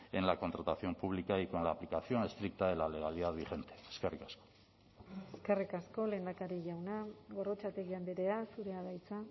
en la contratación pública y con la aplicación estricta de la legalidad vigente eskerrik asko eskerrik asko lehendakari jauna gorrotxategi andrea zurea da hitza